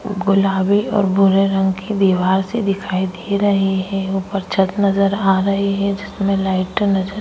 गुलाबी और बुरे रंग की दीवार से दिखाई दे रही है ऊपर छत नजर आ रही है जिसमें लाइट नजर --